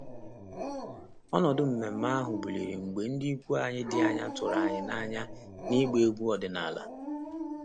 Ọnọdụ nmenme ahụ buliri elu mgbe ndị ikwu anyị dị anya tụrụ anyị n'anya n'ịgba egwu ọdịnala.